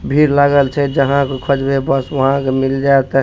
भीड़ लागल छै जहां के खोजवे बस वहां के मिल जाएत --